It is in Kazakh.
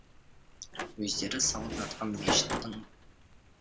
өздері салып жатқан мешіттің